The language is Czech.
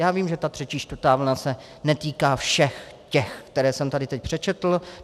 Já vím, že ta třetí čtvrtá vlna se netýká všech těch, které jsem tady teď přečetl.